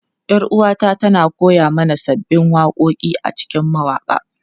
Yar uwata tana koya mana sabbin waƙoƙi a cikin mawaƙa.